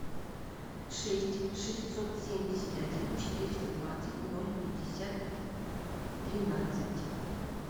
шесть шестьсот семьдесят один четыреста двадцать ноль пятьдесят тринадцать